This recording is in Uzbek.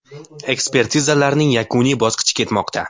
Ekspertizalarning yakuniy bosqichi ketmoqda.